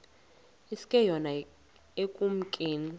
iske yona ekumkeni